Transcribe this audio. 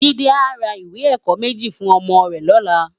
Jide á rá iwé èkò mèji fún òmò rè lòlá